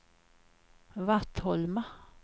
Vattholma